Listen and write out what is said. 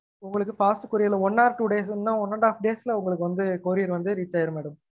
உங்களுக்கு fast couier ல one or two days இன்னா one and half days ல உங்களுக்கு வந்து courier வந்து reach ஆகிடும் madam